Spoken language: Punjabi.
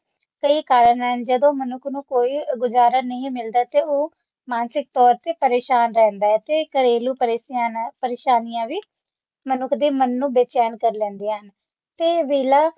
ਕਈ ਕਾਰਨ ਹਨ ਜਦੋ ਮਨੁੱਖ ਨੂੰ ਕੋਈ ਗੁਜ਼ਾਰਾ ਨਹੀਂ ਮਿਲਦਾ ਤੇ ਉਹ ਮਾਨਸਿਕ ਤੌਰ ਤੇ ਪਰੇਸ਼ਾਨ ਰਹਿੰਦਾ ਹੈ ਤੇ ਘਰੇਲੂ ਪਰਿਸਥਿਤੀਆਂ ਨਾਲ ਪਰੇਸ਼ਾਨੀਆਂ ਵੀ ਮਨੁੱਖ ਦੇ ਮਨ ਨੂੰ ਬੇਚੈਨ ਕਰ ਲੈਂਦੀਆਂ ਤੇ ਵੇਹਲਾ